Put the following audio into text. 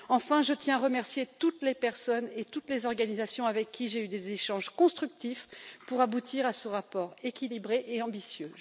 Enfin, je tiens à remercier toutes les personnes et toutes les organisations avec qui j'ai eu des échanges constructifs pour aboutir à ce rapport équilibré et ambitieux.